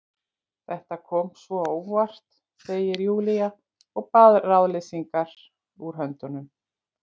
Þetta kom svo á óvart, segir Júlía og baðar ráðleysislega út höndunum.